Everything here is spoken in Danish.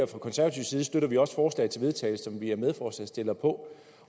fra konservativ side støtter vi også forslaget til vedtagelse som vi er medforslagsstillere på